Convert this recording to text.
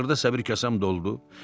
Axırda səbir kasam doldu.